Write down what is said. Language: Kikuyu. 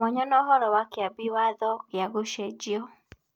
Mwanya na ũhoro wa Kĩambi Watho gĩa Gũcenjio.